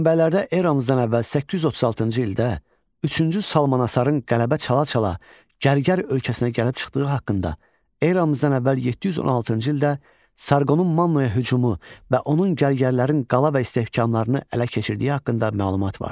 Mənbələrdə eramızdan əvvəl 836-cı ildə üçüncü Salmanasarın qələbə çala-çala gərgər ölkəsinə gəlib çıxdığı haqqında, eramızdan əvvəl 716-cı ildə Sarqonun Mannaya hücumu və onun gərgərlərin qala və istehkamlarını ələ keçirdiyi haqqında məlumat vardır.